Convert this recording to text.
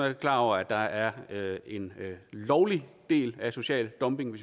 er klar over at der er en lovlig del af social dumping